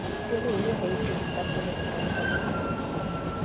dicereale reisi ditapole setampa phoofo